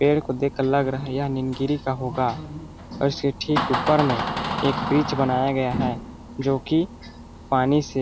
पेड़ को देखकर लग रहा है यह नींदगिरी का होगा और इसके ठीक ऊपर में एक ब्रिज बनाया गया है जो कि पानी से --